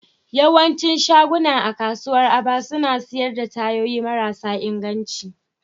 Yawancin shaguna a kasuwar Aba suna sayar da tayoyi marasa inganci